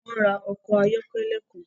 Wọn n ra ọkọ ayọkẹlẹ kan